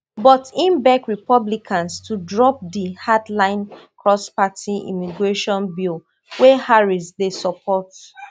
but im beg republicans to drop di hard line cross-party immigration bill wey harris dey support